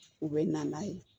U bɛ na n'a ye